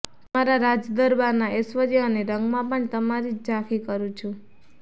તમારા રાજદરબારના ઐશ્વર્ય અને રંગમાં પણ તમારી જ ઝાંખી કરું છું